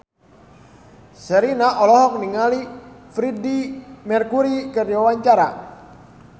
Sherina olohok ningali Freedie Mercury keur diwawancara